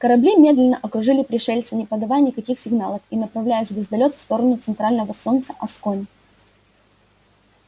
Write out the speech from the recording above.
корабли медленно окружили пришельца не подавая никаких сигналов и направляя звездолёт в сторону центрального солнца аскони